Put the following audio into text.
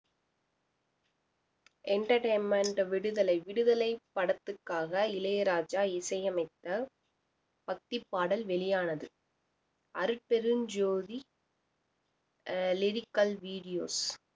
entertainment Viduthalai Viduthalai படத்துக்காக இளையராஜா இசையமைத்த பக்திப் பாடல் வெளியானது அருட்பெருஞ்ஜோதி அஹ் lyrical videos